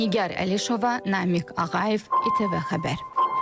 Nigar Əlişova, Namiq Ağayev, ITV Xəbər.